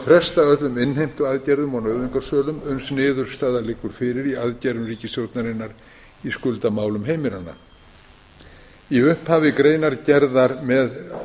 fresta öllum innheimtuaðgerðum og nauðungarsölum uns niðurstaða liggur fyrir í aðgerðum ríkisstjórnarinnar í skuldamálum heimilanna í upphafi greinargerðar með